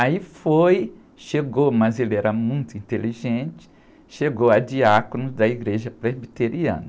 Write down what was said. Aí foi, chegou, mas ele era muito inteligente, chegou a diácono da igreja presbiteriana.